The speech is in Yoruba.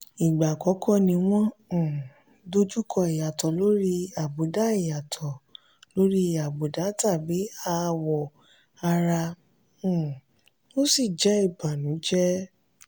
ìgbà àkọ́kọ́ ni wọ́n um dojú kọ ìyàtọ̀ lórí àbùdá ìyàtọ̀ lórí àbùdá tàbí àwọ̀ ara um ó sì jẹ́ ibànújẹ́.